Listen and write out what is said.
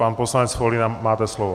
Pan poslanec Foldyna má slovo.